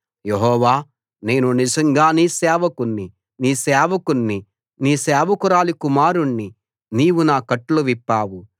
యెహోవా నేను నిజంగా నీ సేవకుణ్ణి నీ సేవకుణ్ణి నీ సేవకురాలి కుమారుణ్ణి నీవు నా కట్లు విప్పావు